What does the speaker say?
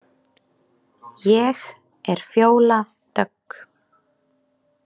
Ég er Fjóla Dögg.